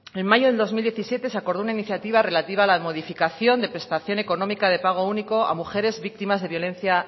en mayo de dos mil diecisiete se acordó una iniciativa relativa a la modificación de prestación económica de pago único a mujeres víctimas de violencia